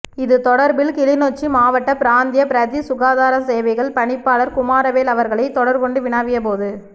இது தொடர்பில் கிளிநொச்சி மாவட்ட பிராந்திய பிரதி சுகாதார சேவைகள் பணிப்பாளர் குமாரவேல் அவர்களை தொடர்கொண்டு வினவிய போது